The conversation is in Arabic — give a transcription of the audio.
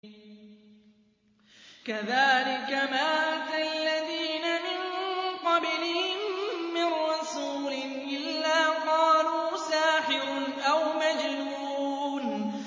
كَذَٰلِكَ مَا أَتَى الَّذِينَ مِن قَبْلِهِم مِّن رَّسُولٍ إِلَّا قَالُوا سَاحِرٌ أَوْ مَجْنُونٌ